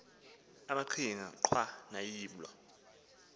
amaqhinga nqwa noyiblo